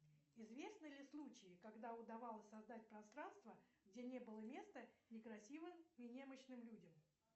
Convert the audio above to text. известны ли случаи когда удавалось создать пространство где не было места некрасивым и немощным людям